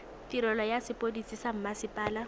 tirelo ya sepodisi sa mmasepala